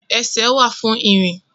Ẹsẹ̀ wà fún ìrìn